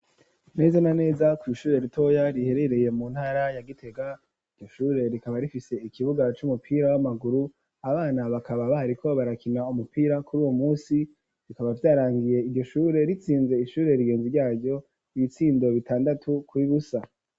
Neza na neza ku bishure ritoya riherereye mu ntara ya Gitega iyoshure rikaba rifise ikibuga c'umupira w'amaguru abana bakaba bahariko barakina umupira kuri uwo munsi rikaba vyarangiye igishure ritsinze ishure rigenze ryaryo ibitsindo bitandatu kuri busa.